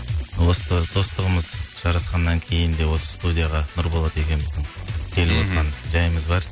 осы достығымыз жарасқаннан кейін де осы студияға нұрболат екеуіміздің келіп мхм отырған жайымыз бар